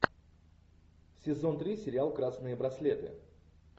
сезон три сериал красные браслеты